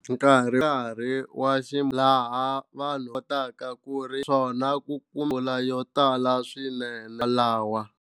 Nkarhi nkarhi wa ximumu laha vanhu kotaka ku ri swona ku ku mpfula yo tala swinene lawa.